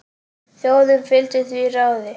Þjóðin fylgdi því ráði.